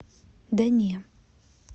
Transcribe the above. да не